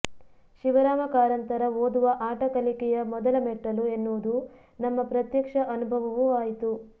ಶಿವರಾಮ ಕಾರಂತರ ಓದುವ ಆಟ ಕಲಿಕೆಯ ಮೊದಲ ಮೆಟ್ಟಲು ಎನ್ನುವುದು ನಮ್ಮ ಪ್ರತ್ಯಕ್ಷ ಅನುಭವವೂ ಆಯ್ತು